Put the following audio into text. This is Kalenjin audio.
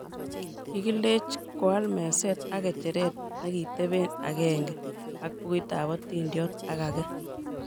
Kikilech koal meset ak ngecheret nekitebe agenge ak bukuitab hatindiot ak age